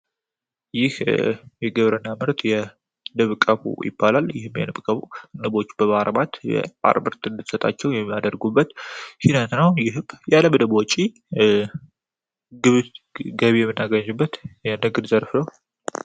ይህ የግብር እና ምርት የንብ ቀፎ ይባላል ይህም የንቦች በማርባት የማር ምርት እድትሰጣቸው የሚያደርጉበት ሂደት ነው ይህም ያለ ያለ ምንም ወጭ ገቢ ምናገኝበት የንግድ ዘርፍ ነው።